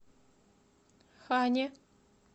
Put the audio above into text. хане